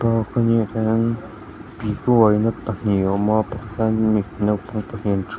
pipu uaina pahnih a awma pakhata hian mipa naupang pahnih an thu a.